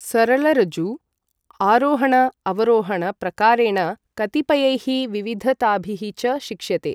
सरलऋजु आरोहण अवरोहण प्रकारेण कतिपयैः विविधताभिः च शिक्ष्यते ।